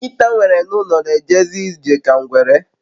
Nkita m nwere n'ulo n'ejezi ije ka ngwere